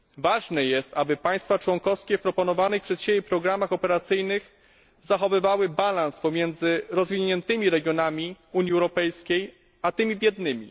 Ważne jest, aby państwa członkowskie w proponowanych przez siebie programach operacyjnych zachowywały balans pomiędzy rozwiniętymi regionami Unii Europejskiej a tymi biednymi.